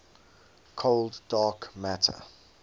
cold dark matter